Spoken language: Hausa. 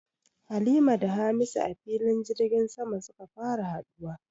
Halima da Hamisu a filin jirgin sama suka fara haduwa